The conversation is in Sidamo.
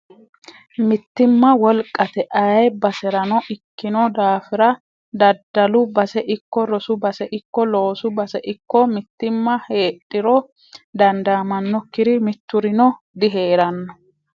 Mittimma wolqate ayee baseranno ikkino daafira daddalu base ikko rosu base ikko loosu base ikko mittimma heedhiro dandamanokkiri miturino diheerano.